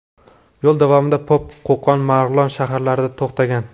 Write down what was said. Yo‘l davomida Pop, Qo‘qon va Marg‘ilon shaharlarida to‘xtagan.